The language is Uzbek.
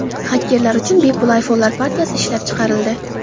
Xakerlar uchun bepul iPhone’lar partiyasi ishlab chiqarildi.